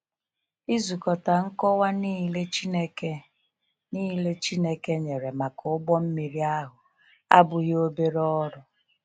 Ịzukọta nkọwa nile Chineke nile Chineke nyere maka ụgbọ mmiri ahụ abụghị obere ọrụ.